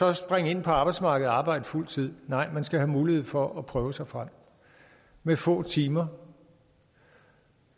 at springe ind på arbejdsmarkedet og arbejde fuld tid nej man skal have mulighed for at prøve sig frem med få timer